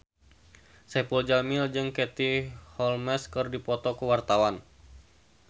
Saipul Jamil jeung Katie Holmes keur dipoto ku wartawan